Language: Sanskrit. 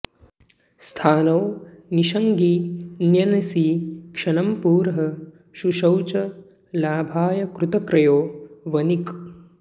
स्थाणौ निषङ्गिण्यनसि क्षणं पुरः शुशोच लाभाय कृतक्रयो वणिक्